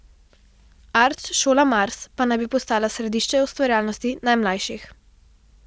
Art šola Mars pa naj bi postala središče ustvarjalnosti najmlajših.